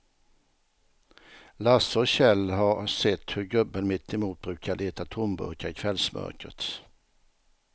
Lasse och Kjell har sett hur gubben mittemot brukar leta tomburkar i kvällsmörkret.